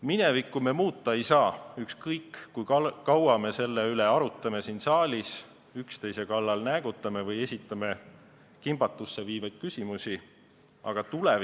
Minevikku me muuta ei saa, ükskõik kui kaua me selle üle siin saalis arutame, üksteise kallal näägutame või kimbatusse viivaid küsimusi esitame.